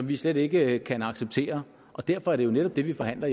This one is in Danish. vi slet ikke kan acceptere og derfor er det jo netop det vi forhandler